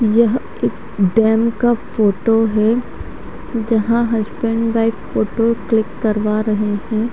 यह एक डैम का फोटो है यहां हसबैंड वाइफ फोटो क्लिक करवा रहे हैं।